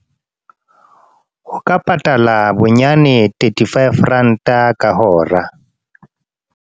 Ho ka patala bonyane thirty-five rand-a ka hora.